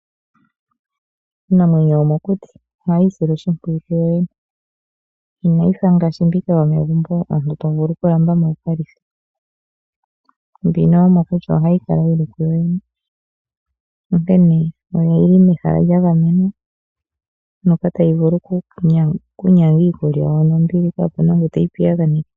Iinamwenyo yomokuti ohayii sile oshimpwiyu kuyo yene inayi fa ngaashi mbika yomegumbo omuntu tovulu okulamba mo wukalithe. Mbino yomokuti ohayi kala yili ku yoyene, onkene oyili mehala lya gamenwa moka tayi vulu okunyanga iikulya yawo nombili kaapuna ngu teyi piyaganeke.